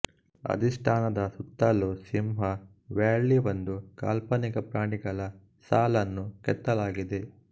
ಅಧಿಷ್ಟಾನದ ಸುತ್ತಲೂ ಸಿಂಹ ವ್ಯಾಳಿಒಂದು ಕಾಲ್ಪನಿಕ ಪ್ರಾಣಿಗಳ ಸಾಲನ್ನು ಕೆತ್ತಲಾಗಿದೆ